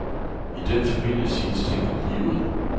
I den familie siges tingene ligeud.